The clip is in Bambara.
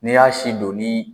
N'i y'a si don ni